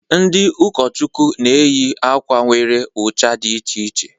Ndị ụkọchukwu na-eyị akwa nwere ucha dị iche iche.